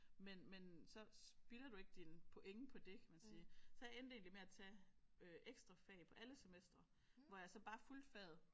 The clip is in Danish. Men men så spilder du ikke dine point på det kan man sige så jeg endte egentlig med at tage øh ekstra fag på alle semestre hvor jeg så bare fulgte faget